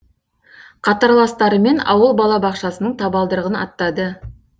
қатарластарымен ауыл балабақшасының табалдырығын аттады